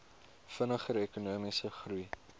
vinniger ekonomiese groei